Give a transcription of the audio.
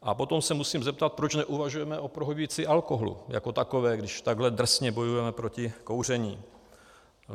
A potom se musím zeptat, proč neuvažujeme o prohibici alkoholu jako takové, když takhle drsně bojujeme proti kouření.